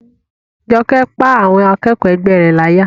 Jọkẹ́ pá àwọn akẹ́kọ̀ọ́ ẹgbẹ́ rẹ̀ láyà